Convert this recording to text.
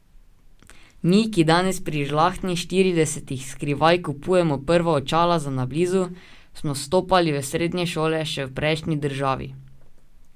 Mi, ki danes pri žlahtnih štiridesetih skrivaj kupujemo prva očala za na blizu, smo vstopali v srednje šole še v prejšnji državi.